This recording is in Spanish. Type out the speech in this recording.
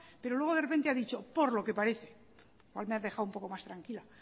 pero luego de repente ha dicho por lo que parece hoy me ha dejado un poco más tranquila